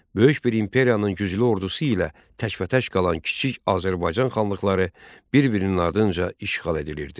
Böyük bir imperiyanın güclü ordusu ilə təkbətək qalan kiçik Azərbaycan xanlıqları bir-birinin ardınca işğal edilirdi.